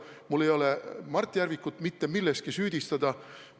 Mul ei ole alust Mart Järvikut milleski süüdistada.